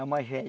A mais velha.